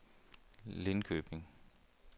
Linköping